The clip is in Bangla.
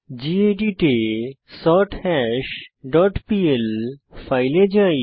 গেদিত এ সর্থাশ ডট পিএল এ যাই